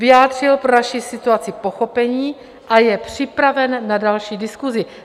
Vyjádřil pro naši situaci pochopení a je připraven na další diskusi.